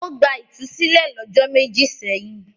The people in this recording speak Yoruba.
Ó gba ìtúsílẹ̀ lọ́jọ́ méjì sẹ́yìn.